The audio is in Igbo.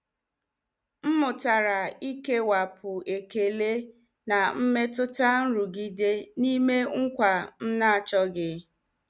M mụtara ikewapụ ekele na mmetụta nrụgide n'ime nkwa m na-achọghị.